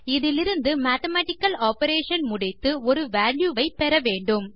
இதிலிருந்து mathematical operation முடித்து ஒரு வால்யூ பெற வேண்டும்